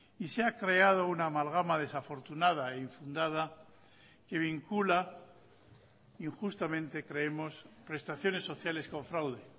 y se ha creado una amalgama desafortunada einfundada que vincula injustamente creemos prestaciones sociales con fraude